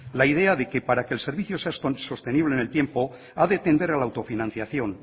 la idea de que para que el servicio sea sostenible en el tiempo ha de tender a la autofinanciación